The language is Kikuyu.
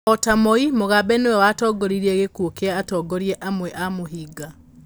O ta Moi, Mugabe nĩ we watongoririe gĩkuũ kĩa atongoria amwe a mũhĩnga.